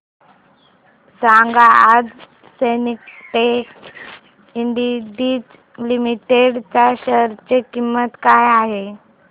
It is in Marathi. सांगा आज सिन्टेक्स इंडस्ट्रीज लिमिटेड च्या शेअर ची किंमत काय आहे